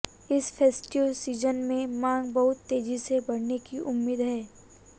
इस festive season में मांग बहुत तेजी से बढ़ने की उम्मीद है